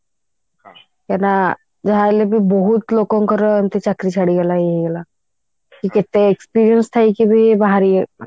କାହିଁକି ନା ଯାହା ହେଲେ ବି ବହୁତ ଲୋକଙ୍କର ଏମିତି ଚାକିରି ଛାଡିଗଲା ଇଏ ହେଇଗଲା ସେ କେତେ experience ଥାଇକି ବି ବାହାରି